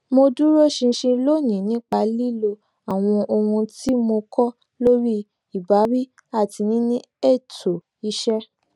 mo duro ṣinṣin lónìí nipa lilo awọn ohun ti mo kọ lori ibawi ati nini eto iṣẹ